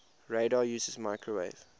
radar uses microwave